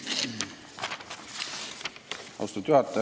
Austatud juhataja!